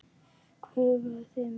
Huggaði mig.